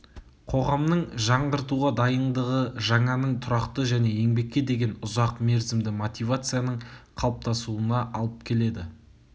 қоғамның жаңғыртуға дайындығы жаңаның тұрақты және еңбекке деген ұзақ мерзімді мотивацияның қалыптасуына алып келеді